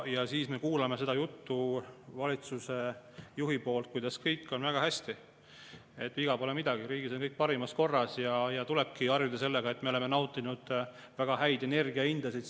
Ja siis me kuuleme valitsusjuhi juttu sellest, kuidas kõik on väga hästi, viga pole midagi, riigis on kõik parimas korras ja tulebki harjuda, me oleme isegi nautinud väga häid energiahindasid.